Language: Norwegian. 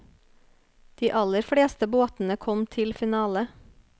De aller fleste båtene kom til finale.